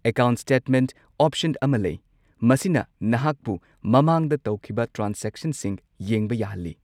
Account statement option ꯑꯃ ꯂꯩ, ꯃꯁꯤꯅ ꯅꯍꯥꯛꯄꯨ ꯃꯃꯥꯡꯗ ꯇꯧꯈꯤꯕ ꯇ꯭ꯔꯥꯟꯁꯦꯛꯁꯟꯁꯤꯡ ꯌꯦꯡꯕ ꯌꯥꯍꯜꯂꯤ꯫